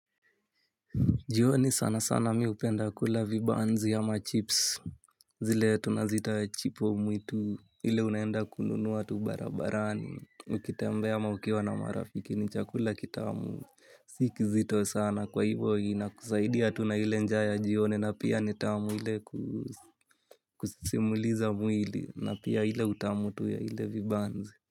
Jioni sana sana mi hupenda kula vibanzi ama chips zile tunaziita chipo mwitu ile unaenda kununua tu barabarani. Ukitembea ama ukiwa na marafiki ni chakula kitamu. Si kizito sana kwa hivo inakusaidia tu na ile njaa ya jioni na pia ni tamu. Ile ku kusimuliza mwili na pia ile utamu tu ya ile vibanzi.